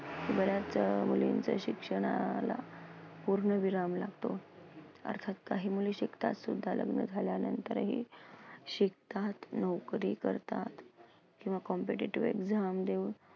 बऱ्याचदा मुलींचं शिक्षणाला पूर्णविराम लागतो. अर्थात काही मुली शिकतात सुद्ध लग्न झाल्यानंतरही. शिकतात, नोकरी करतात, किंवा competitive exam देऊन